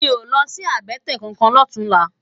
Mi ó lòsi àbètè kánkán lòtúnlá